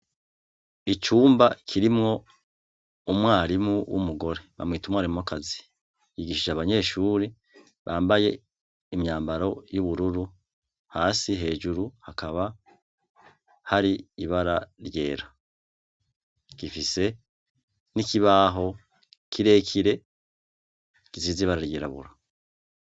Icumba kirimwo umwarimu w'umugore, bamwita umwarimukazi, yigisha abanyeshure bambaye imyambaro y'ubururu hasi, hejuru hakaba hari ibara ryera, gifise n'ikibaho kirekire gisize ibara ry'irabura.